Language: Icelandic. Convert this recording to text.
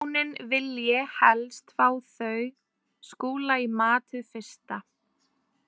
Hjónin vilji helst fá þau Skúla í mat hið fyrsta.